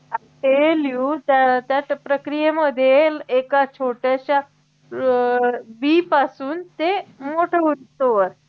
ते लिहुनत्या त्या प्रक्रियेमध्ये एका छोट्याश्या अं बी पासून ते मोठं होईस्तोवर